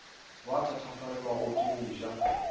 ba thatafalelwago ke go ja